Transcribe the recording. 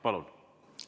Palun!